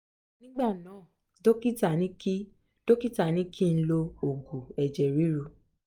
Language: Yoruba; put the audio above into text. ní ìgbà náà dọ́kítà ní kí dọ́kítà ní kí n lo òògù ẹ̀jẹ̀ ríru